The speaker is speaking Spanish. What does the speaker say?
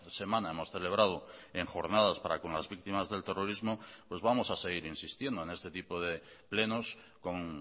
semana hemos celebrado en jornadas para con las víctimas del terrorismo pues vamos a seguir insistiendo en este tipo de plenos con